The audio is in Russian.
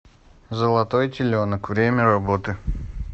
золотой теленок время работы